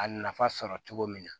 A nafa sɔrɔ cogo min na